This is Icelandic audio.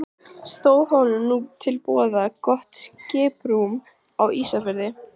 Stóð honum nú til boða gott skiprúm á Ísafirði.